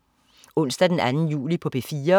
Onsdag den 2. juli - P4: